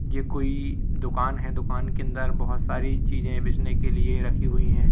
ये कोई दुकान है दुकान के अंदर बहोत सारी चीजें बेचने के लिए रखी हुई हैं।